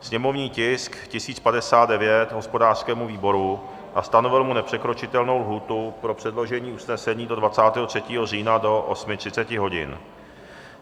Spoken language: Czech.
sněmovní tisk 1059 hospodářskému výboru a stanovil mu nepřekročitelnou lhůtu pro předložení usnesení do 23. října do 8.30 hodin;